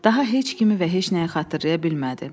Daha heç kimi və heç nəyi xatırlaya bilmədi.